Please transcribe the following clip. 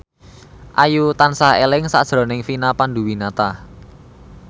Ayu tansah eling sakjroning Vina Panduwinata